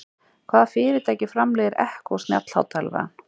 Hvaða fyrirtæki framleiðir Echo snjallhátalarann?